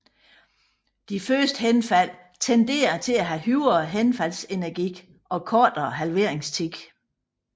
De første henfald tenderer til at have højere henfaldsenergi og kortere halveringstid